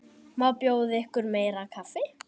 Má bjóða ykkur meira kaffi?